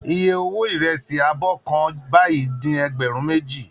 Iye owó ìrẹsì abọ́ kan báyìí ni ẹgbẹ̀rún méjì